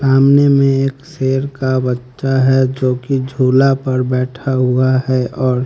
सामने में एक शेर का बच्चा है जोकी झूला पर बैठा हुआ है और--